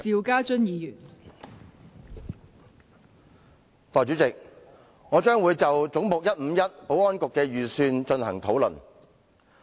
代理主席，我會就"總目 151― 政府總部：保安局"的預算開支進行討論。